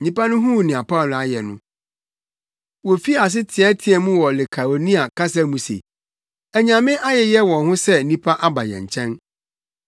Nnipa no huu nea Paulo ayɛ no, wofii ase teɛteɛɛ mu wɔ Likaonia kasa mu se, “Anyame ayeyɛ wɔn ho sɛ nnipa aba yɛn nkyɛn.”